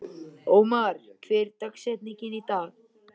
Ómar, hver er dagsetningin í dag?